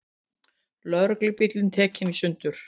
Lögreglubíll tekinn í sundur